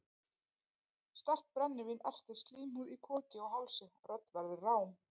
Sterkt brennivín ertir slímhúð í koki og hálsi, rödd verður rám.